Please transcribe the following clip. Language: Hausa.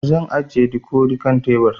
Zan ajiye dikodi kan tebur